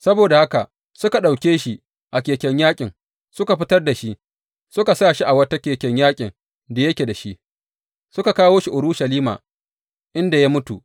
Saboda haka suka ɗauke shi a keken yaƙin, suka fitar da shi, suka sa shi a wata keken yaƙin da yake da shi, suka kawo shi Urushalima, inda ya mutu.